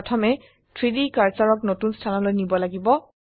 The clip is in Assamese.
প্ৰথমে 3ডি কাৰ্সাৰক নতুন স্থানলৈ নিব লাগিব